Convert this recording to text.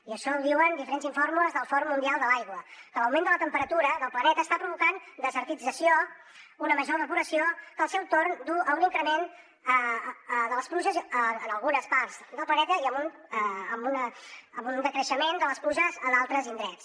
i això ho diuen diferents informes del fòrum mundial de l’aigua que l’augment de la temperatura del planeta està provocant desertització una major evaporació que al seu torn duu a un increment de les pluges en algunes parts del planeta i a un decreixement de les pluges a d’altres indrets